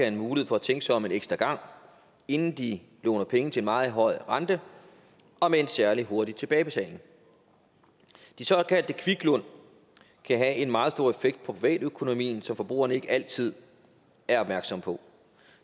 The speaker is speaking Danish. en mulighed for at tænke sig om en ekstra gang inden de låner penge til en meget høj rente og med en særlig hurtig tilbagebetaling de såkaldte kviklån kan have en meget stor effekt på privatøkonomien som forbrugerne ikke altid er opmærksom på